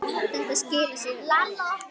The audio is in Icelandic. Þetta skilar sér vel.